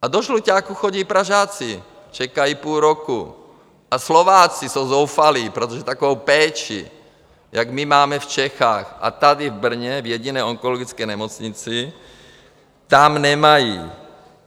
A do Žluťáku chodí Pražáci, čekají půl roku, a Slováci jsou zoufalí, protože takovou péči, jak my máme v Čechách a tady v Brně, v jediné onkologické nemocnici, tam nemají.